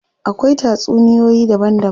Akwai tatsuniyoyi daban daban.